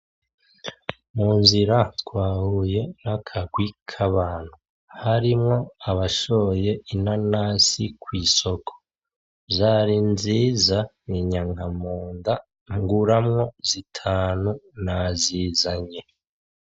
Munzira twahuye nakarwi kabantu harimwo abashoye inanasi kwisoko zari nziza binyanka munda nguramwo zitanu nazizanye .